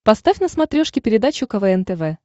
поставь на смотрешке передачу квн тв